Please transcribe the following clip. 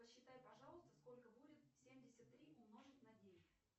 посчитай пожалуйста сколько будет семьдесят три умножить на девять